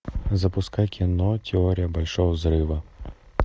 запускай кино теория большого взрыва